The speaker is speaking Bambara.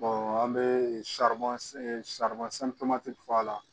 an bɛ sari sari fɔ a la